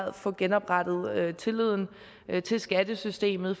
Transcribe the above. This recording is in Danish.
at få genoprettet tilliden til skattesystemet